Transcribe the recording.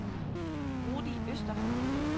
Rudi Øster